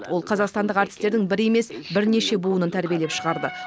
ол қазақстандық әртістердің бір емес бірнеше буынын тәрбиелеп шығарды